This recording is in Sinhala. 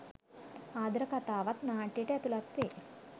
ආදර කතාවත් නාට්‍යයට ඇතුළත් වේ.